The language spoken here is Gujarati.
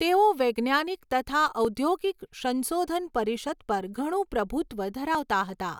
તેઓ વૈજ્ઞાનિક તથા ઔદ્યોગિક સંશોધન પરિષદ પર ઘણુ પ્રભુત્વ ધરાવતા હતા.